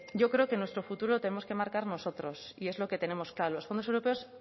yo creo que nuestro futuro lo tenemos que marcar nosotros y es lo que tenemos claro los fondos europeos